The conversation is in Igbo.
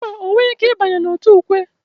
Mba, ọ nweghị ike ịbanye n'òtù ukwe.